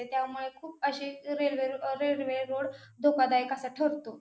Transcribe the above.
त्याच्यामुळे खूप अशे रेल्वे रो रेल्वे रोड धोकादायक असा ठरतो.